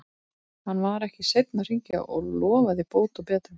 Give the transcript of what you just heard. Hann var ekki seinn að hringja og lofaði bót og betrun.